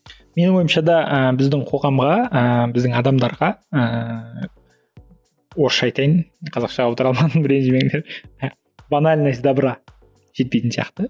менің ойымша да ыыы біздің қоғамға ыыы біздің адамдарға ыыы орысша айтайын қазақша аудара алмадым ренжімеңдер і банальность добра жетпейтін сияқты